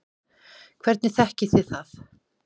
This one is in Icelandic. Hvernig þekkið þið það?